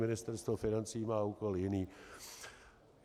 Ministerstvo financí má úkol jiný.